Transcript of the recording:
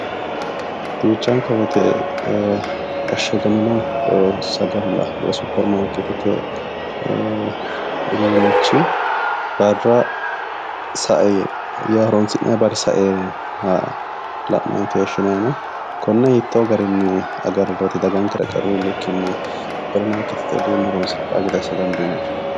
Duuchanka woyte ee ashagamino sagalla woyi supirimaariketete uduunichi barra sae horonsi'nanni barri sainoha la'nanni keeshshinaninna konne hiitto garinni agariroti dagankera agarroni bikkinni supirimaarietete uduune horonsidhano gede assa dandiinanni ?